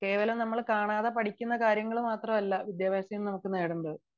കേവലം നമ്മൾ കാണാതെ പഠിക്കുന്ന കാര്യങ്ങൾ മാത്രമല്ല വിദ്യാഭ്യാസം കൊണ്ട് നേടേണ്ടത്